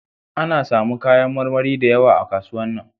A na samu kayan marmari da yawa a kasuwan nan